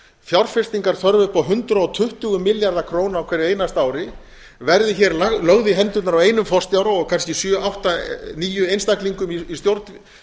fjárfestingarþörf upp á hundrað tuttugu milljarða króna á hverju einasta ári verði hér lögð í hendurnar á einum forstjóra og kannski sjö átta níu einstaklingum í stjórn